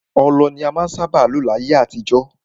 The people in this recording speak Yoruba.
Ọlọ ni en sábà má n lò ní ayé àtijọ́.